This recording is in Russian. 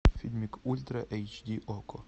фильмик ультра эйч ди окко